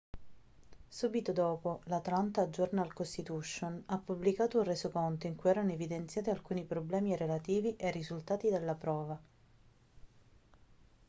subito dopo l'atlanta journal-constitution ha pubblicato un resoconto in cui erano evidenziati alcuni problemi relativi ai risultati della prova